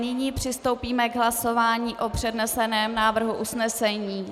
Nyní přistoupíme k hlasování o předneseném návrhu usnesení.